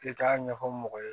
K'i k'a ɲɛfɔ mɔgɔ ye